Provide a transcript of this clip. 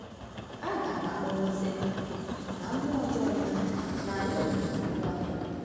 A ga-akpọghee Satan na mmụọ ọjọọ ya n’ala omimi puku afọ.